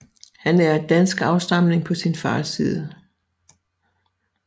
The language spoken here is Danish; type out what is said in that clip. Han er af dansk afstamning på sin fars side